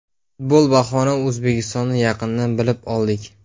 Futbol bahona O‘zbekistonni yaqindan bilib oldik.